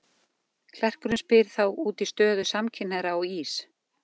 Klerkurinn spyr þá út í stöðu samkynhneigðra á Ís